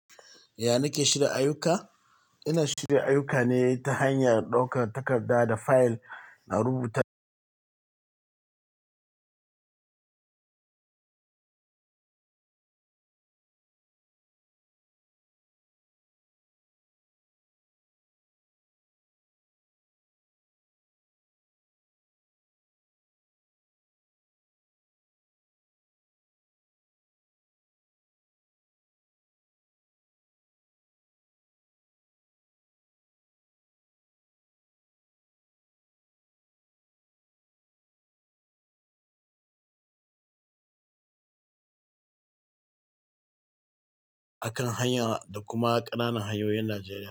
Ya nake shirin ayyuka? Ina shirin ayyuka ne ta hanyar ɗaukar takarda da fayel a rubuta kuma ƙananan hanyoyin Najeriya.